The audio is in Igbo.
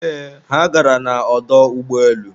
eeh, ha gara na ọdọ ụgbọelu